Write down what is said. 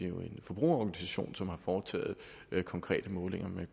jo en forbrugerorganisation som har foretaget konkrete målinger men